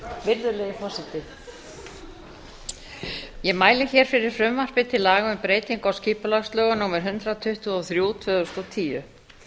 virðulegi forseti ég mæli hér fyrir frumvarpi til laga um breytingu á skipulagslögum númer hundrað tuttugu og þrjú tvö þúsund og tíu